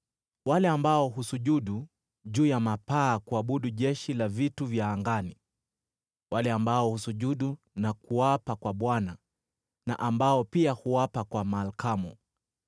wale ambao husujudu juu ya mapaa kuabudu jeshi la vitu vya angani, wale ambao husujudu na kuapa kwa Bwana na ambao pia huapa kwa Malkamu,